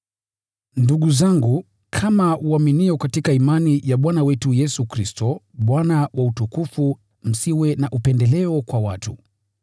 Ndugu zangu, kama waaminio katika imani ya Bwana wetu Yesu Kristo, Bwana wa utukufu, msiwe na upendeleo kwa watu.